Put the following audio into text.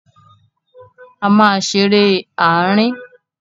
A máa ṣeré ààrin.